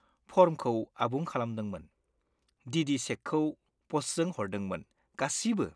फर्मखौ आबुं खालामदोंमोन, ‌डि.डि. चेकखौ पस्टजों हरदोंमोन, गासिबो।